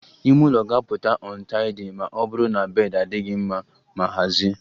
Ime ụlọ ga-apụta untidy ma ọ bụrụ na bed adịghị mma ma hazie